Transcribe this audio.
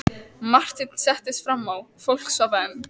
Marteinn settist fram á, fólk svaf enn.